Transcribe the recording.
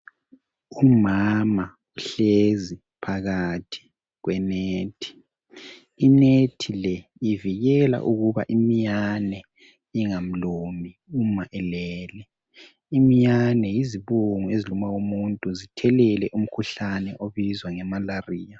Umama uhlezi phakathi kwenethi inethi le ivikela ukuba iminyane ingamlumi uma elele iminyane yizibungu eziluma umuntu zithelele umkhuhlane obizwa yimalariya